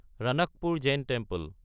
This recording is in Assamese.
ৰাণাকপুৰ জেইন টেম্পল